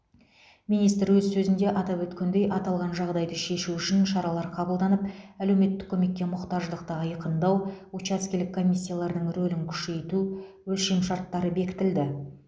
министр өз сөзінде атап өткендей аталған жағдайды шешу үшін шаралар қабылданып әлеуметтік көмекке мұқтаждықты айқындау учаскелік комиссиялардың рөлін күшейту өлшемшарттары бекітілді